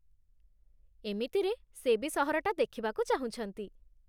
ଏମିତିରେ, ସେ ବି ସହରଟା ଦେଖିବାକୁ ଚାହୁଁଛନ୍ତି ।